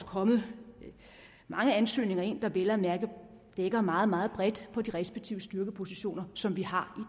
kommet mange ansøgninger ind der vel at mærke dækker meget meget bredt på de respektive styrkepositioner som vi har